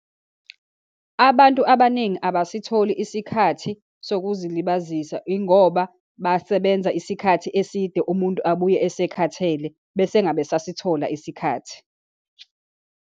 Abantu abaningi abasitholi isikhathi sokuzilabazisa, yingoba basebenza isikhathi eside, umuntu abuye asekhathele, bese engabe esasithola isikhathi.